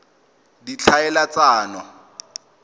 ditlhaeletsano